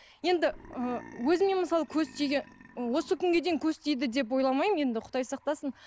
енді ы өзіме мысалы осы күнге дейін көз тиді деп ойламаймын енді құдай сақтасын